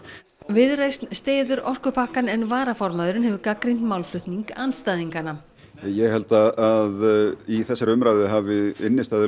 viðreisn styður orkupakkann en varaformaðurinn hefur gagnrýnt málflutning andstæðinganna ég held að í þessari umræðu hafi